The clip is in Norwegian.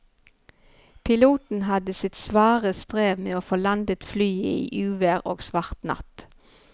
Piloten hadde sitt svare strev med å få landet flyet i uvær og svart natt.